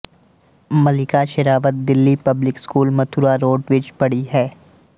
ਮਲਿਕਾ Sherawat Delhi public school Mathura road ਵਿਚ ਪੜ੍ਹੀ ਹੈ